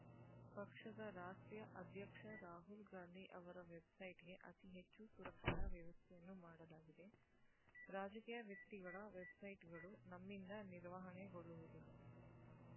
ಪಕ್ಷದ ರಾಷ್ಟ್ರೀಯ ಅಧ್ಯಕ್ಷ ರಾಹುಲ್‌ಗಾಂಧಿ ಅವರ ವೆಬ್‌ಸೈಟ್‌ಗೆ ಅತಿ ಹೆಚ್ಚು ಸುರಕ್ಷತಾ ವ್ಯವಸ್ಥೆಯನ್ನು ಮಾಡಲಾಗಿದೆ ರಾಜಕೀಯ ವ್ಯಕ್ತಿಗಳ ವೆಬ್‌ಸೈಟ್‌ಗಳು ನಮ್ಮಿಂದ ನಿರ್ವಹಣೆಗೊಳ್ಳುವುದಿಲ್ಲ